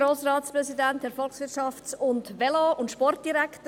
Kommissionssprecherin der FiKo.